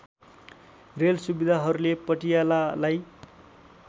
rail सु‍विधाहरूले पटियालालाई